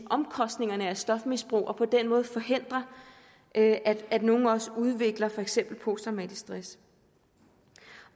omkostningerne af stofmisbrug og på den måde forhindre at at nogle også udvikler for eksempel posttraumatisk stress